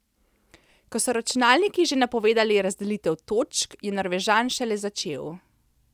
Ko so računalniki že napovedovali razdelitev točk, je Norvežan šele začel.